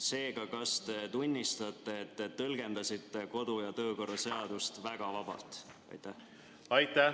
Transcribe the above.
Seega, kas te tunnistate, et te tõlgendasite kodu‑ ja töökorra seadust väga vabalt?